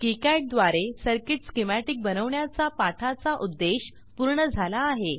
KiCad द्वारे circuit schematic बनवण्याचा पाठाचा उद्देश पूर्ण झाला आहे